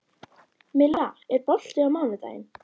Milla, er bolti á mánudaginn?